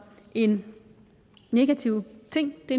en negativ ting det